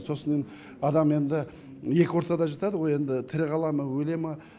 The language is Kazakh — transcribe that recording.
сосын адам енді екі ортада жатады ғой енді тірі қала ма өле ма